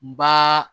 N b'aa